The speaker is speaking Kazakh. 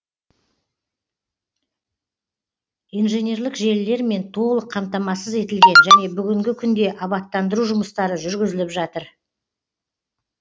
инженерлік желілермен толық қамтамасыз етілген және бүгінгі күнде абаттандыру жұмыстары жүргізіліп жатыр